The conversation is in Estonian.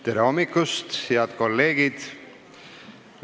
Tere hommikust, head kolleegid!